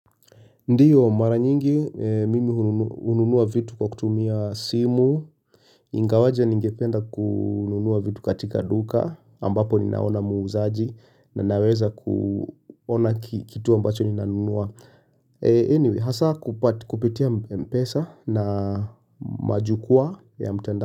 Ndiyo mara nyingi, mimi hununua vitu kwa kutumia simu, ingawaje ningependa kununua vitu katika duka, ambapo ninaona muuzaaji na naweza kuona kitu ambacho ninanunua Eniwei, hasa kupitia mpesa na majukwaa ya mtandao.